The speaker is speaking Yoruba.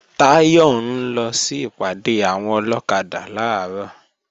Táyọ̀ ń lọ sí ìpàdé àwọn ọlọ́kadà làárọ̀